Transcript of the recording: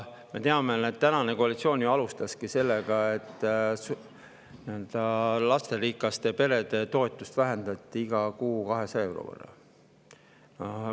Me teame, et tänane koalitsioon alustaski sellega, et vähendas lasterikaste perede toetust iga kuu 200 euro võrra.